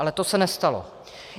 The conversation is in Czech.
Ale to se nestalo.